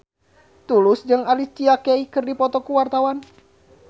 Tulus jeung Alicia Keys keur dipoto ku wartawan